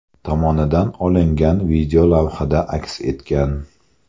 tomonidan olingan video lavhada aks etgan.